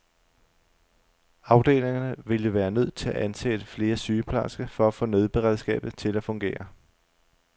Afdelingerne ville være nødt til at ansætte flere sygeplejersker for at få nødberedskabet til at fungere.